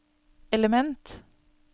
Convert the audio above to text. element